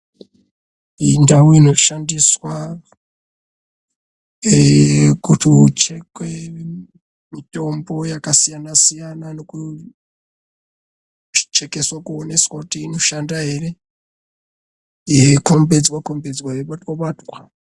Indau inoshandiswa, kuti uchhekwe mitombo yakasiyana-siyana, nekuchhekeswa kuonekwa kuti inoshanda ere, yeikhombidzwa-khombidzwa, yeibatwa-batwa.